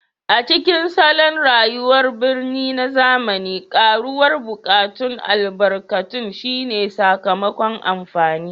A cikin salon rayuwar birni na zamani, karuwar buƙatun albarkatun shine sakamakon amfani